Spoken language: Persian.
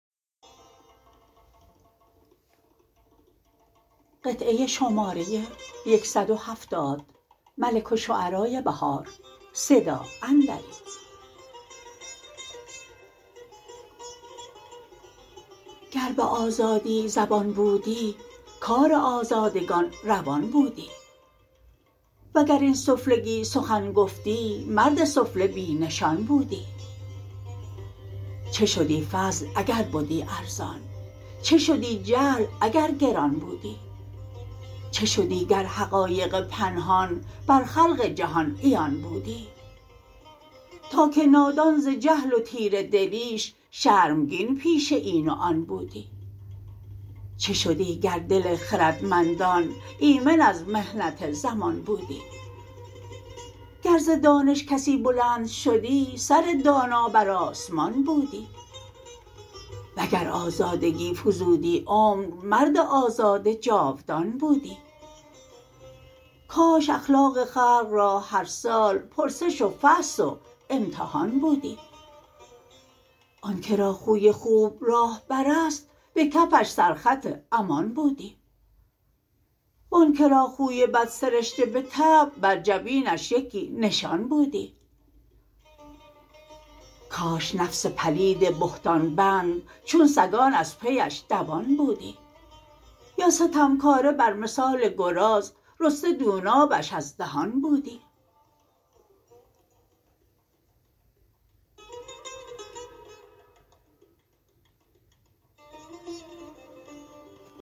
گر به آزادی زبان بودی کار آزادگان روان بودی وگر این سفلگی سخن گفتی مردم سفله بی نشان بودی چه شدی فضل اگر بدی ارزان چه شدی جهل اگر گران بودی چه شدی گر حقایق پنهان بر خلق جهان عیان بودی تا که نادان ز جهل و تیره دلیش شرمگین پیش این و آن بودی چه شدی گر دل خردمندان ایمن از محنت زمان بودی گر ز دانش کسی بلند شدی سر دانا بر آسمان بودی وگر آزادگی فزودی عمر مرد آزاده جاودان بودی کاش اخلاق خلق را هر سال پرسش و فحص و امتحان بودی آن که را خوی خوب راهبر است به کفش سر خط امان بودی وان که را خوی بد سرشته به طبع بر جبینش یکی نشان بودی کاش نفس پلید بهتان بند چون سگان از پی ش دوان بودی یا ستمکاره بر مثال گراز رسته دونابش از دهان بودی